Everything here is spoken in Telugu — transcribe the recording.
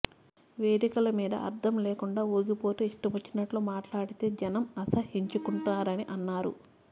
వేదికల మీద అర్థం లేకుండా ఊగిపోతూ ఇష్టమొచ్చినట్టు మాట్లాడితే జనం అసహ్యించుకుంటారని అన్నారు